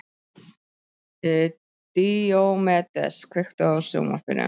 Díómedes, kveiktu á sjónvarpinu.